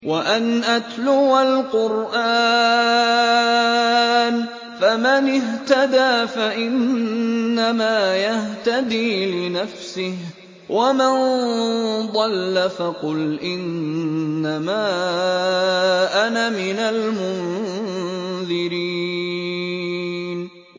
وَأَنْ أَتْلُوَ الْقُرْآنَ ۖ فَمَنِ اهْتَدَىٰ فَإِنَّمَا يَهْتَدِي لِنَفْسِهِ ۖ وَمَن ضَلَّ فَقُلْ إِنَّمَا أَنَا مِنَ الْمُنذِرِينَ